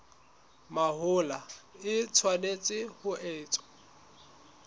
mahola e tshwanetse ho etswa